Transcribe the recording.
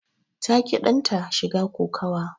Ta ƙi danta shiga kokawa.